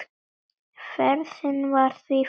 Ferðin var því farin.